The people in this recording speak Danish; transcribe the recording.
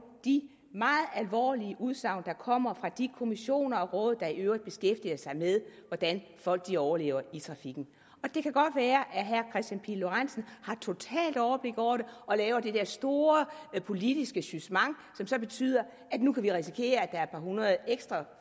de meget alvorlige udsagn der kommer fra de kommissioner og råd der i øvrigt beskæftiger sig med hvordan folk overlever i trafikken det kan godt være at herre kristian pihl lorentzen har totalt overblik over det og laver det her store politiske jugement som så betyder at vi nu kan risikere at der er et par hundrede ekstra